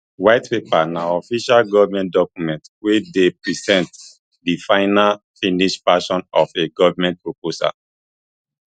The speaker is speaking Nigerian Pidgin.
white paper na official goment document wey dey present di final finished version of a goment proposal